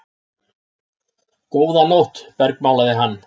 Góða nótt bergmálaði hann.